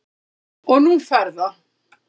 Og nú fer það